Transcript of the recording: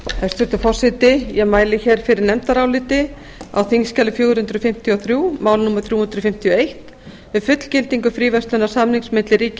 hæstvirtur forseti ég mæli hér fyrir nefndaráliti á þingskjali fjögur hundruð fimmtíu og þrjú mál númer þrjú hundruð fimmtíu og eitt um fullgildingu fríverslunarsamnings milli ríkja